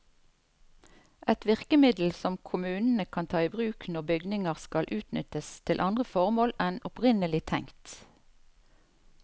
Et virkemiddel som kommunene kan ta i bruk når bygninger skal utnyttes til andre formål enn opprinnelig tenkt.